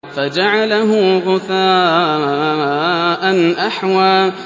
فَجَعَلَهُ غُثَاءً أَحْوَىٰ